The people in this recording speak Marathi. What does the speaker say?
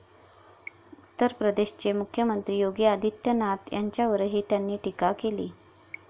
उत्तर प्रदेशचे मुख्यमंत्री योगी आदित्यनाथ यांच्यावरही त्यांनी टीका केली.